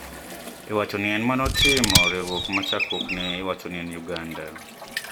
Iwacho ni ema ne otimo, riwruok ma chakruokne iwacho ni en Uganda